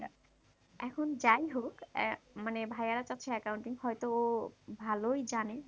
এখন যাই হোক আহ মানে ভাইয়ারা কাছে accounting হয়তো ভালোই জানে?